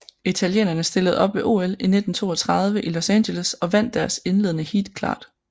Italienerne stillede op ved OL 1932 i Los Angeles og vandt deres indledende heat klart